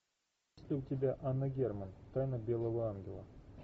есть ли у тебя анна герман тайна белого ангела